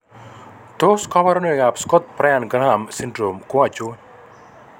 Tos kabarunoik ab Scott Bryant Graham syndrome ko achon?